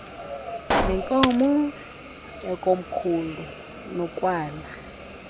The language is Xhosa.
ngenkomo yakomkhulu nokwala